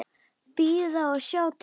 Bíða og sjá til.